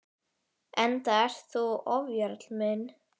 Enda ert þú ofjarl minn.